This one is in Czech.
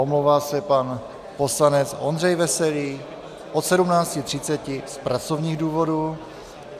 Omlouvá se pan poslanec Ondřej Veselý od 17.30 z pracovních důvodů.